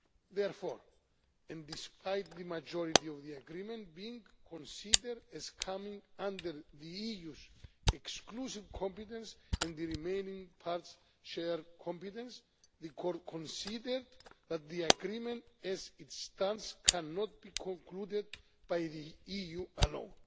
Therefore, and despite the majority of the agreement being considered as coming under the EU's exclusive competence and the remaining parts as shared competence, the Court considered that the agreement as it stands cannot be concluded by the EU alone.